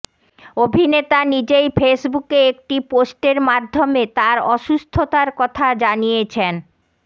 অভিনেতা নিজেই ফেসবুকে একটি পোস্টের মাধ্যমে তার অসুস্থতার কথা জানিয়েছেন